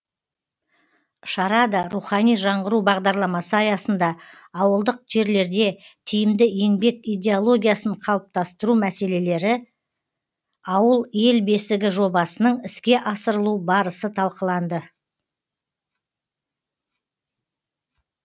шарада рухани жаңғыру бағдарламасы аясында ауылдық жерлерде тиімді еңбек идеологиясын қалыптастыру мәселелері ауыл ел бесігі жобасының іске асырылу барысы талқыланды